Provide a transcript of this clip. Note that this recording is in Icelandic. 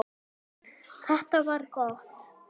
Þetta var gott.